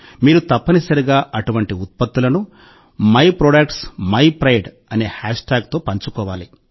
మీరు తప్పనిసరిగా అటువంటి ఉత్పత్తులను myproductsmypride అనే హ్యాష్ ట్యాగుతో పంచుకోవాలి